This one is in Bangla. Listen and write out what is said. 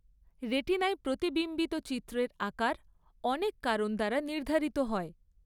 রেটিনায় প্রতিবিম্বিত চিত্রের আকার অনেক কারণ দ্বারা নির্ধারিত হয়।